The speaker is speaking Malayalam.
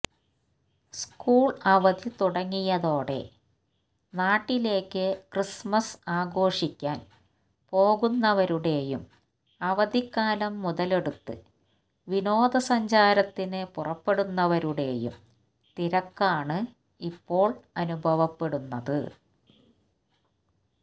സ്കൂള് അവധി തുടങ്ങിയതോടെ നാട്ടിലേക്ക് ക്രിസ്മസ് ആഘോഷിക്കാന് പോകുന്നവരുടെയും അവധിക്കാലം മുതലെടുത്ത് വിനോദസഞ്ചാരത്തിന് പുറപ്പെടുന്നവരുടെയും തിരക്കാണ് ഇപ്പോള് അനുഭവപ്പെടുന്നത്